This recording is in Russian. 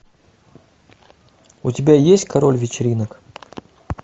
у тебя есть король вечеринок